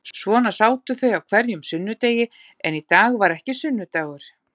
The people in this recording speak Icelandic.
Svona sátu þau á hverjum sunnudegi en í dag var ekki sunnudagur.